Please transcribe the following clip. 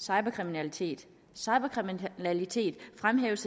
cyberkriminalitet cyberkriminalitet fremhæves